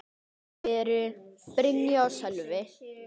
Þau eru: Brynja og Sölvi.